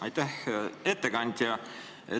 Aitäh, ettekandja!